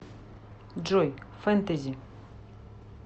джой фентези